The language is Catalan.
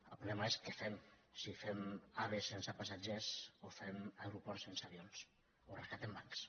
el problema és què fem si fem ave sense passatgers o fem aeroports sense avions o rescatem bancs